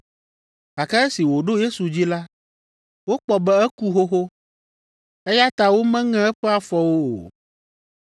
Gake esi wòɖo Yesu dzi la, wokpɔ be eku xoxo, eya ta womeŋe eƒe afɔwo o.